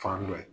Fan dɔ ye